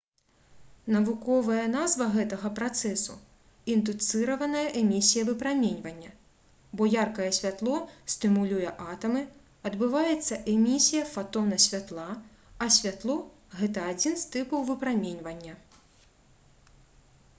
навуковая назва гэтага працэсу — «індуцыраваная эмісія выпраменьвання» бо яркае святло стымулюе атамы адбываецца эмісія фатона святла а святло — гэта адзін з тыпаў выпраменьвання